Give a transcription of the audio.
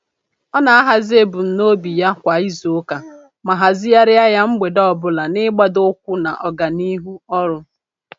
Ọ na-ahazị ebumnobi ọrụ ya kwa izuụka ma hazịghari ya mgbede ọbụla n'igbadoụkwụ na ọganihu ọrụ.